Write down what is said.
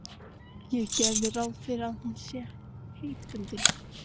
Ég geri ráð fyrir að hún sé heitbundin?